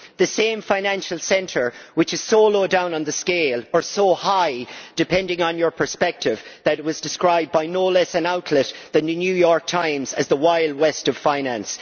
This is the same financial centre which is so low down on the scale or so high depending on your perspective that it was described by no less an outlet than the New York Times as the Wild West' of finance!